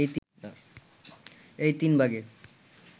এই তিন ভাগে